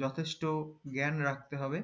যথেস্ট জ্ঞান রাখতে হবে